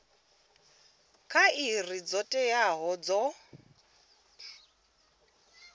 kha iri dzo teaho dzo